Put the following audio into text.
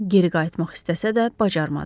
Geri qayıtmaq istəsə də, bacarmadı.